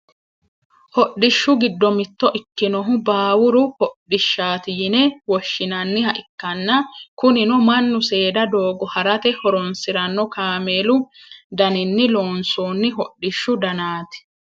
hodhishshu giddo mitto ikkinohu baawuru hodhishshaati yine woshshinanniha ikkanna, kunino mannu seeda doogo harate horonsiranno kaameelu daninni loonsoonni hodhishshu danaati.